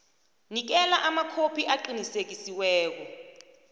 nikela amakhophi aqinisekisiweko